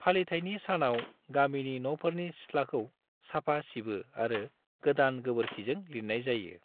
फालिथायनि सानाव, गामिनि न'फोरनि सिथ्लाखौ साफा सिबो आरो गोदान गोबोरखिजों लिरनाय जायो।